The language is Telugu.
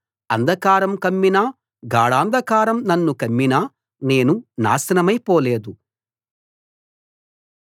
అంధకారం కమ్మినా గాఢాంధకారం నన్ను కమ్మినా నేను నాశనమైపోలేదు